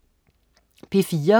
P4: